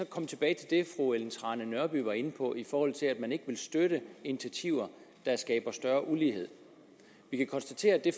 komme tilbage til det fru ellen trane nørby var inde på i forhold til at man ikke støtte initiativer der skaber større ulighed vi kan konstatere at det